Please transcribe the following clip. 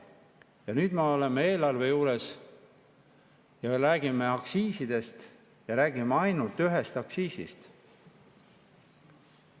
Ja nüüd me oleme eelarve juures ja me räägime aktsiisidest ja räägime ainult ühest aktsiisist.